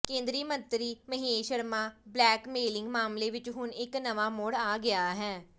ਕੇਂਦਰੀ ਮੰਤਰੀ ਮਹੇਸ਼ ਸ਼ਰਮਾ ਬਲੈਕਮੇਲਿੰਗ ਮਾਮਲੇ ਵਿੱਚ ਹੁਣ ਇੱਕ ਨਵਾਂ ਮੋੜ ਆ ਗਿਆ ਹੈ